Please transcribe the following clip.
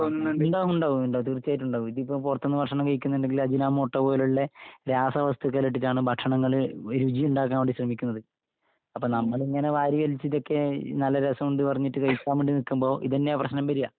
ങാ, ആ, ആ.. ഉണ്ടാവുമുണ്ടാവും. തീർച്ചയായിട്ടുമുണ്ടാകും. ഇതിപ്പോ പുറത്തുന്നു ഭക്ഷണം കഴിക്കുന്നുണ്ടെങ്കില് അജിനാമോട്ടോ പോലുള്ള രസവസ്തുക്കള് ഇട്ടിട്ടാണ് ഭക്ഷണങ്ങള് രുചിയുണ്ടാക്കാൻ വേണ്ടി ശ്രമിക്കുന്നത്. അപ്പൊ നമ്മളിങ്ങനെ വാരി വലിച്ചിട്ടൊക്കെ നല്ല രസമുണ്ട് നു പറഞ്ഞിട്ട് കഴിക്കാൻ വേണ്ടി നിക്കുമ്പോ ഇതന്നെയാ പ്രശ്നം വരിക.